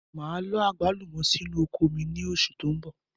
Máa lọ àgbálùmọ̀ sì inú oko mi ni oṣù tó ń bọ̀.